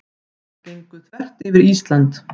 Gengu þvert yfir Ísland